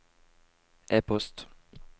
e-post